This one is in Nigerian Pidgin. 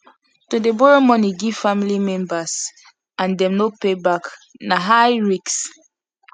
to dey borrow money give family members and them no pay back na high risk